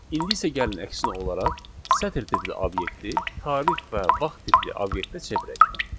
İndi isə gəlin əksinə olaraq sətr tipli obyekti tarix və vaxt tipli obyektə çevirək.